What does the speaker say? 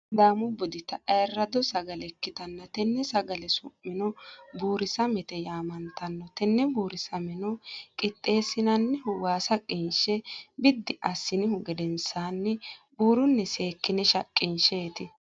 sidaamu budita ayiraado sagalle ikitanna tenne sagalle su'mino buurisamete yaamamano tenne buurisamenno qixeesinannihu waasa qinishe biddi asinihu gedensaanni buurunni seekine shaqinshaniti.